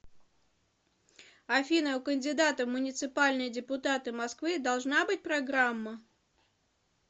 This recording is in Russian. афина у кандидата в муниципальные депутаты москвы должна быть программа